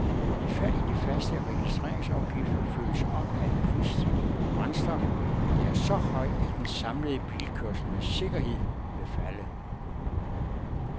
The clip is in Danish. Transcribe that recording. Et fald i de faste registreringsafgifter følges op af en prisstigning på brændstof, der er så høj, at den samlede bilkørsel med sikkerhed vil falde.